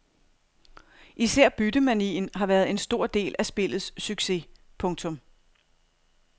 Især byttemanien har været en stor del af spillets succes. punktum